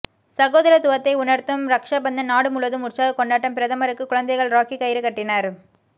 சகோதரத்துவத்தை உணர்த்தும் ரக்சாபந்தன் நாடு முழுவதும் உற்சாக கொண்டாட்டம் பிரதமருக்கு குழந்தைகள் ராக்கி கயிறு கட்டினர்